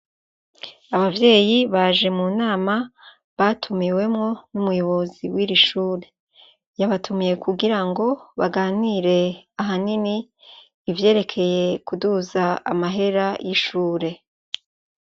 Abavyeyi baje mu nama batumiwemwo n'umuyobozi w'iri shure. Yabatumiye kugirango baganire ahanini, ivyerekeye kuduza amahera y'ishure.